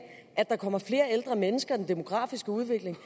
at der kommer flere ældre mennesker med den demografiske udvikling